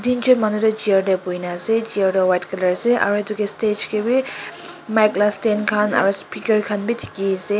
teenjon manu toh chair tae boina ase chair toh white colour ase aro edu kae stage kae bi mic la stand khan aro speaker khan bi dikhiase.